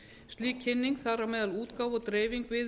slík kynning þar á meðal útgáfa og dreifing